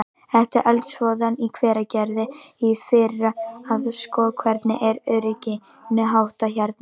Eftir eldsvoðann í Hveragerði í fyrra að sko, hvernig er örygginu háttað hérna?